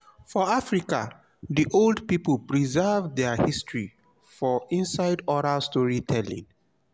for africa di old pipo preserve their history for inside oral story telling